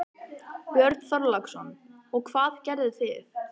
Björn Þorláksson: Og hvað gerðu þið?